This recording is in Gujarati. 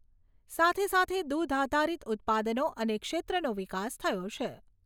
સાથે સાથે દુધ આધારિત ઉત્પાદનો અને ક્ષેત્રોનો વિકાસ થયો છે.